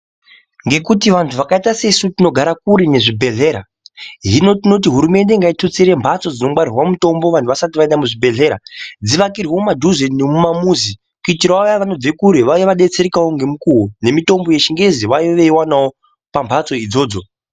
Ngekuti vantu vakaita sesu tinogara kure nezvibhedhlera, hino tinoti hurumende ngaitutsire mbhatso dzinongwarirwa mutombo vantu vasati vaenda kuchibhedhlera dzivakirwe mudhuze nemumamuzi kuitirawo vaya vanobve kure vauye veidetseraka ngemukuwo nemitombo yechingezi vauye vachiwanawo pambhatso idzodzo.